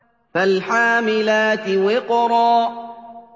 فَالْحَامِلَاتِ وِقْرًا